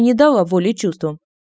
не дала воли чувствам